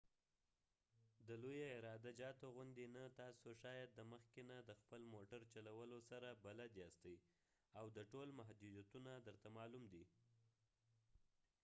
د لوي عراده جاتو غوندي نه ،تاسی شاید د مخکې نه د خپل موټر چلولو سره بلد یاستۍ او د ټول محدوديتونه درته معلوم دي